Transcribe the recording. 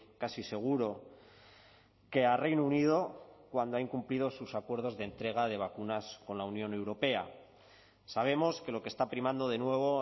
casi seguro que a reino unido cuando ha incumplido sus acuerdos de entrega de vacunas con la unión europea sabemos que lo que está primando de nuevo